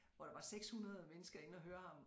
Hvor der var 600 mennesker inde at høre ham